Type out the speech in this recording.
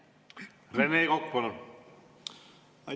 Rene Kokk, palun!